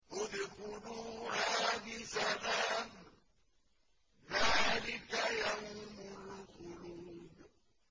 ادْخُلُوهَا بِسَلَامٍ ۖ ذَٰلِكَ يَوْمُ الْخُلُودِ